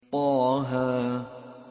طه